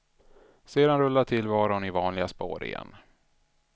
Sedan rullar tillvaron i vanliga spår igen.